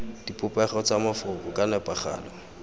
dipopego tsa mafoko ka nepagalo